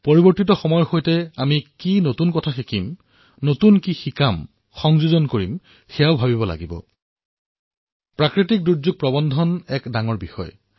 পৰিৱৰ্তিত যুগত আমি কিমান নতুন কথা শিকিব লাগিব শিকাব লাগিব জোঁৰাব লাগিব আজিকালি দুৰ্যোগ প্ৰশমন ব্যৱস্থাপনাও এক ডাঙৰ কাম হৈ পৰিছে